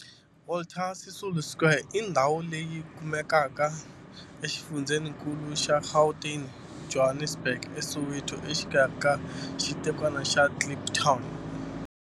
Walter Sisulu Square i ndhawu leyi kumekaka exifundzheninkulu xa Gauteng, Johannesburg, a Soweto, exikarhi ka xitikwana xa Kliptown.